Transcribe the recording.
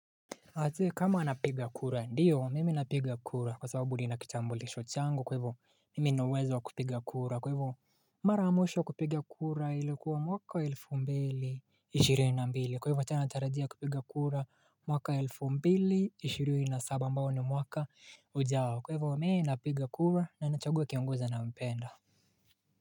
Ati kama anapiga kura ndiyo mimi napiga kura kwa sababu ni nakitambulisho changu kwa hivyo mimi nauwezo wa kupiga kura kwa hivyo maramwisho kupiga kura ilikuwa mwaka elfu mbili ishirini na mbili kwa hivyo nataradia kupiga kura mwaka elfu mbili ishirini na saba ambao ni mwaka ujao kwa hivyo mimi napiga kura na nanichague kiongozi nampenda.